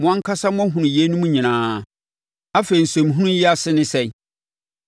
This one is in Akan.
Mo ankasa moahunu yeinom nyinaa. Afei nsɛnhunu yi ase ne sɛn?